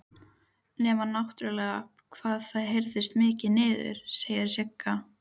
Nema náttúrlega hvað það heyrist mikið niður, segir Sigga.